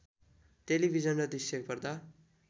television दृश्य पर्दा